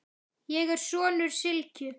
Ég er sonur Sylgju